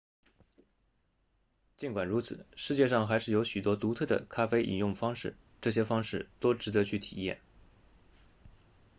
尽管如此世界上还是有许多独特的咖啡饮用方式这些方式都值得去体验